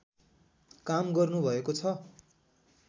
काम गर्नुभएको छ